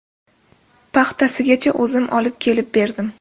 Paxtasigacha o‘zim olib kelib berdim.